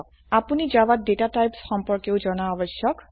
আপোনি জাভাত data types সম্পর্কেও জানা আবশ্যক